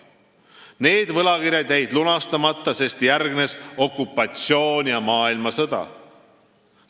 Need võlakirjad jäid lunastamata, sest järgnesid okupatsioon ja maailmasõda.